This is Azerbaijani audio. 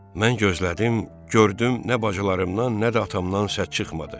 Mən gözlədim, gördüm nə bacılarımdan, nə də atamdan səs çıxmadı.